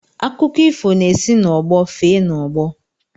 Akụkọ ifo na-esi n'ọgbọ fee n'ọgbọ